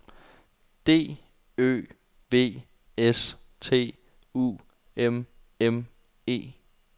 D Ø V S T U M M E